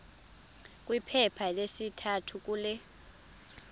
kwiphepha lesithathu kule